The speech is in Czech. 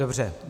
Dobře.